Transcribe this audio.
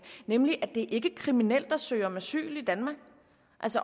nemlig at det ikke er kriminelt at søge om asyl i danmark